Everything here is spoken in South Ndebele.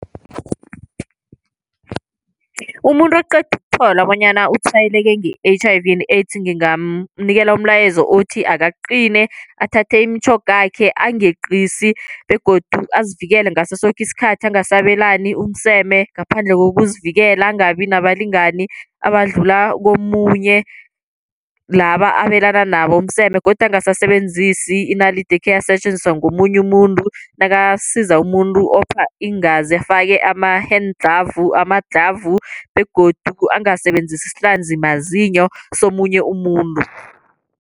Umuntu oqeda ukuthola bonyana utshwayeleke nge-H_I_V and AIDS ngingamnikela umlayezo othi, akaqine athathe imitjhogakhe angeqisi begodu azivikele ngaso soke isikhathi. Angasabelani umseme ngaphandle kokuzivikela. Angabi nabalingani abadlula komunye laba abelana nabo umseme. Godu angasebenzisi inalidi ekheyasetjenziswa ngomunye umuntu. Nakasiza umuntu opha iingazi afake ama-hand clove, amadlhavu begodu angasebenzisi isihlanzimazinyo somunye umuntu.